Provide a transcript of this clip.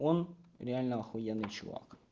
он реально ахуенный чувак